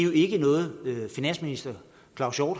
jo ikke noget finansministeren